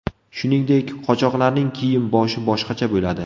Shuningdek, qochoqlarning kiyim-boshi boshqacha bo‘ladi.